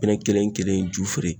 pinɛn kelen kelen ju feere